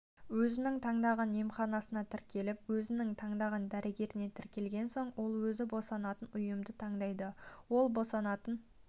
өзінің таңдаған емханасына тіркеліп өзінің таңдаған дәрігеріне тіркелген соң ол өзі босанатын ұйымды таңдайды ол босанатын